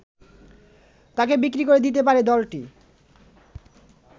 তাকে বিক্রি করে দিতে পারে দলটি